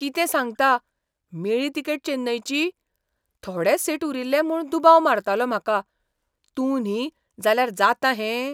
कितें सांगता, मेळ्ळी तिकेट चेन्नयची? थोडेच सीट उरिल्ले म्हूण दुबाव मारतालो म्हाका. तूं न्ही जाल्यार जाता हें?